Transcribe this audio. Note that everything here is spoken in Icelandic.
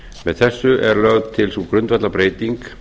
með þessu er lögð til sú grundvallarbreyting